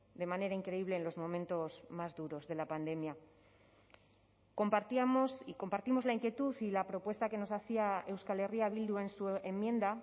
de manera increíble en los momentos más duros de la pandemia compartíamos y compartimos la inquietud y la propuesta que nos hacía euskal herria bildu en su enmienda